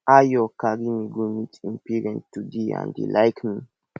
ayo carry me go meet im parents today and dey like me